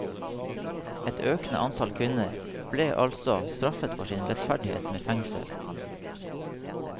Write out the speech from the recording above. Et økende antall kvinner ble altså straffet for sin lettferdighet med fengsel.